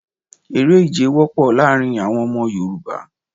Eré ìje wópò láàrin àwon Ọmọ Yorùbá